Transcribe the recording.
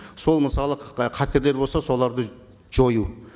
сол мысалы ы қатерлер болса соларды жою